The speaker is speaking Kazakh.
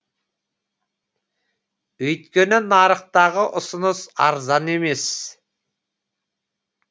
өйткені нарықтағы ұсыныс арзан емес